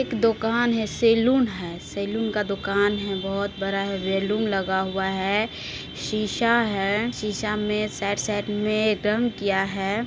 एक दोकान है सैलून है सैलून का दुकान है बोहत बड़ा है बैलून लगा हुआ है शीशा है शीशे मे साइड साइड रंग किया है।